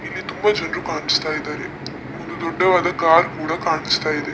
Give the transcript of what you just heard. ಇಲ್ಲಿ ತುಂಬಾ ಜನರು ಕಾಣಿಸ್ತಾ ಇದ್ದಾರೆ ಒಂದು ದೊಡ್ಡವಾದ ಕಾರ್ ಕೂಡ ಕಾಣಿಸ್ತಾ ಇದೆ.